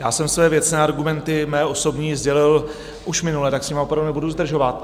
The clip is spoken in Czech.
Já jsem své věcné argumenty, své osobní, sdělil už minule, tak s nimi opravdu nebudu zdržovat.